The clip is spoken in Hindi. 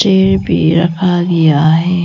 ये भी रखा गया है।